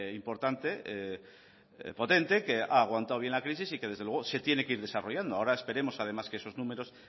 importante y potente que ha aguantado bien la crisis y que desde luego se tiene que ir desarrollando ahora esperemos además que esos números